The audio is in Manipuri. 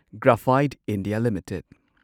Graphite India limited